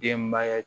Denbaya